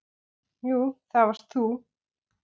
Jú, það varst þú.